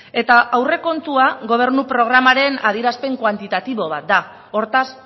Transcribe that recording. eta aurrekontua gobernua programaren adierazpen kuantitatibo bat da hortaz